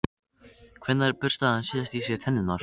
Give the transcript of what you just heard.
Hvenær burstaði hann síðast í sér tennurnar?